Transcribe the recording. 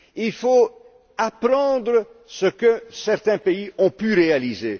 Il faut apprendre ce que certains pays ont pu réaliser.